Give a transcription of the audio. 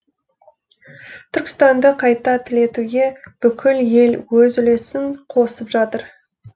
түркістанды қайта түлетуге бүкіл ел өз үлесін қосып жатыр